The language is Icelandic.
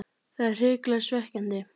Það er hrikalega svekkjandi.